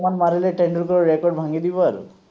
মাৰিলে টেন্ডোলকাৰৰ ৰেকৰ্দ ভাঙি দিব আৰু